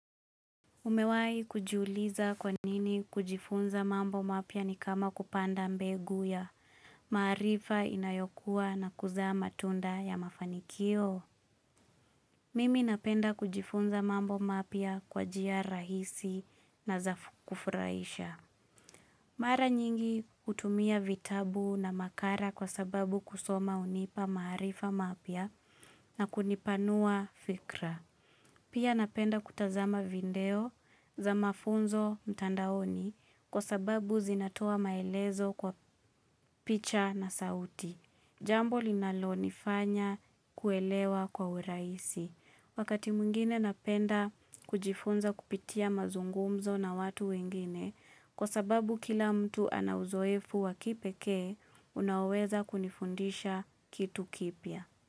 Umewai kujuliza kwa nini kujifunza mambo mapya ni kama kupanda mbegu ya maarifa inayokuwa na kuzaa matunda ya mafanikio. Mimi napenda kujifunza mambo mapya kwa njia rahisi na za kufurahisha. Mara nyingi hutumia vitabu na makala kwa sababu kusoma hunipa maarifa mapya na kunipanua fikra. Pia napenda kutazama video za mafunzo mtandaoni kwa sababu zinatoa maelezo kwa picha na sauti. Jambo linalonifanya kuelewa kwa urahisi. Wakati mwingine napenda kujifunza kupitia mazungumzo na watu wengine kwa sababu kila mtu ana uzoefu wa kipekee unaoweza kunifundisha kitu kipya.